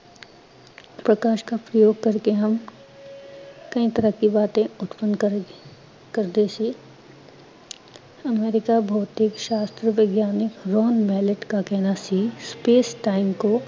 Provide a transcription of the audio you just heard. ਪ੍ਕਾਸ਼ ਕਾ ਪ੍ਯੋਗ ਕਰਕੇ ਹਮ ਕਈ ਤਰ੍ਹਾਂ ਕੀ ਬਾਤੇਂ ਉਤਪਨ ਕਰਦੇ ਸੀ, ਭੌਤਿਕ ਸ਼ਾਸਤਰ ਵਿਗਿਆਨਿਕ BrownMallet ਕਾ ਕਹਿਣਾ ਸੀ, space-time ਕੋ